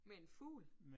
Med en fugl